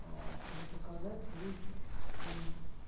чтобы показать весь там